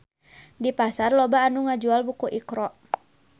Di pasar loba anu ngajual buku Iqra